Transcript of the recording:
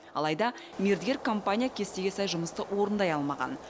алайда мердігер компания кестеге сай жұмысты орындай алмаған